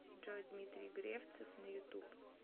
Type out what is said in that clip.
джой дмитрий гревцев на ютуб